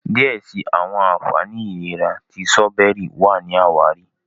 diẹ síi àwọn ànfàní ìlera ti Sírọ́bẹ́rì wá ní àwáàrí.